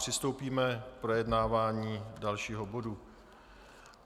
Přistoupíme k projednávání dalšího bodu.